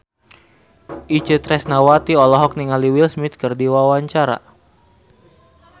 Itje Tresnawati olohok ningali Will Smith keur diwawancara